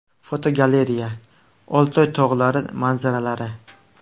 Fotogalereya: Oltoy tog‘lari manzaralari.